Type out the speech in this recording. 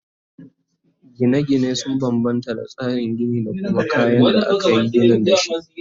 Gina gine sun banbanta da tsarin Gini da kuma kayan da akayi ginin dashi